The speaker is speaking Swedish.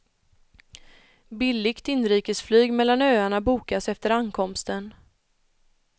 Billigt inrikesflyg mellan öarna bokas efter ankomsten.